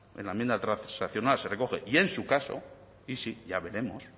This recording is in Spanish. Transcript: en la enmienda transaccional se recoge y en su caso y si ya veremos